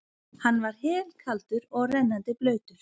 Hann var helkaldur og rennandi blautur.